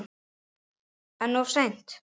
En of seint?